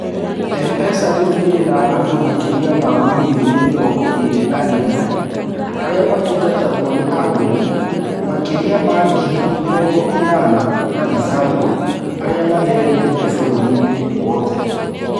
M-PESA rĩu ĩrĩ na andũ makĩria ma milioni mĩrongo ĩĩrĩ na ĩmwe arĩa matungatagwo nĩ ahũri makĩria ma ngiri mĩrongo ĩnana na ithano arĩa matheremete bũrũri wothe.